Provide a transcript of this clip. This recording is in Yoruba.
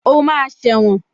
O máa sẹ̀wọ̀n